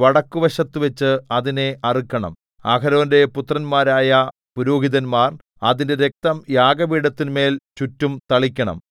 വടക്കുവശത്തുവച്ച് അതിനെ അറുക്കണം അഹരോന്റെ പുത്രന്മാരായ പുരോഹിതന്മാർ അതിന്റെ രക്തം യാഗപീഠത്തിന്മേൽ ചുറ്റും തളിക്കണം